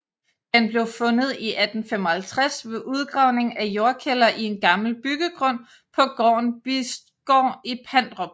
Den blev fundet i 1855 ved udgravning af jordkælder i en gammel byggegrund på gården Bisgård i Pandrup